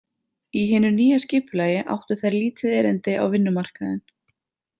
Í hinu nýja skipulagi áttu þær lítið erindi á vinnumarkaðinn.